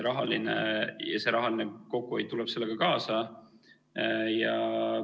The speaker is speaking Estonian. Rahaline kokkuhoid tuleb sellega kaasa.